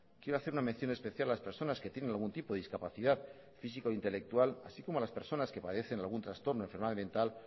quiero hacer una mención especial a las personas que tienen algún tipo de discapacidad física o intelectual así como a las personas que padecen algún trastorno enfermedad mental